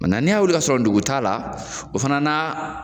n'i ya wuli ka sɔrɔ dogo t'a la, o fana na